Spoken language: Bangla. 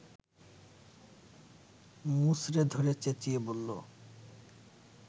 মুচড়ে ধরে চেঁচিয়ে বলল